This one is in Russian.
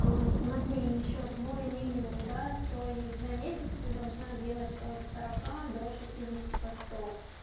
аа смотри ещё твой минимум да то есть за месяц ты должна делать от сорока до шестидесяти постов